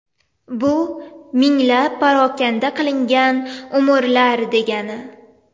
Bu minglab parokanda qilingan umrlar, degani.